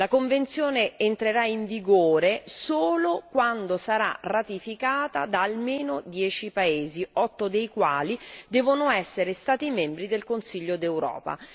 La convenzione entrerà in vigore solo quando sarà ratificata da almeno 10 paesi, 8 dei quali devono essere Stati membri del Consiglio d'Europa.